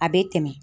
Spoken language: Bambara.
A bɛ tɛmɛ